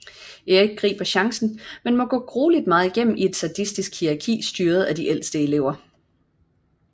Erik griber chancen men må grueligt meget igennem i et sadistisk hierarki styret af de ældste elever